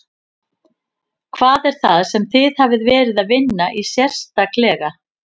Hvað er það sem þið hafið verið að vinna í sérstaklega?